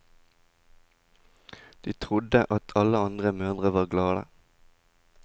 Og de trodde at alle andre mødre var glade.